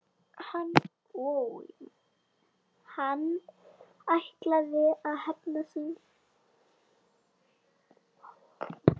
Hann ætlaði að hefna sín!